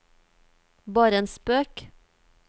bare en spøk